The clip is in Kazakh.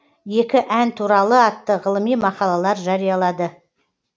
екі ән туралы атты ғылыми мақалалар жариялады